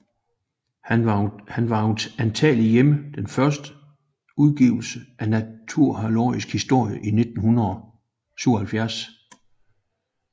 Han var antagelig hjemme den første udgivelse af Naturalis Historia i 77